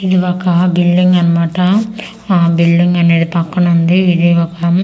ఇది ఒక బిల్డింగ్ అనమాట ఆ బిల్డింగ్ అనేది పక్కన ఉంది ఇది ఒక.